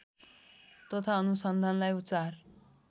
तथा अनुसन्धानलाई चार